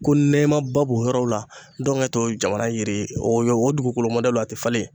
Ko nɛmaba b'o yɔrɔ la , ndɔnkɛ tɛ o jamana yiri ye , wa o dugukolo mɔdɛliw a tɛ falen yen.